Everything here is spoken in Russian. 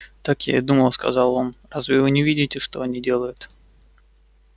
так я и думал сказал он разве вы не видите что они делают